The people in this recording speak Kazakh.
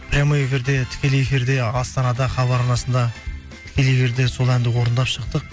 прямой эфирде тікелей эфирде астанада хабар арнасында тікелей эфирде сол әнді орындап шықтық